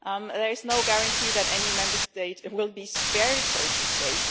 There is no guarantee that any Member State will be spared, so to say.